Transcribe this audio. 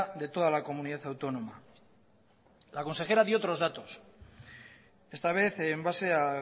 de toda la comunidad autónoma la consejera dio otros datos esta vez en base a